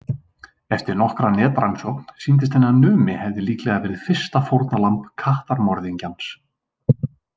Eftir nokkra netrannsókn sýndist henni að Númi hefði líklega verið fyrsta fórnarlamb kattamorðingjans.